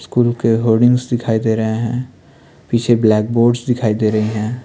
School के hoardings दिखाई दे रहे हैं पीछे ब्लैक बोर्ड्स दिखाई दे रहे हैं।